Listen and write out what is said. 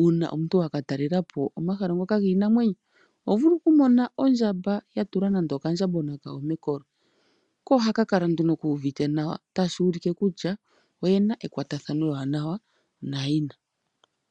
uuna omuntu wa katalela po omahala ngoka giinamwenyo. Oho vulu okumona ondjamba ya tula nande okandjambagona kayo mekolo. Ko ohaka kala nduno kuuvite nawa tashi ulike kutya oyena ekwatathano ewanawa nayina.